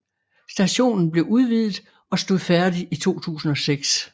Stationen blev udvidet og stod færdig i 2006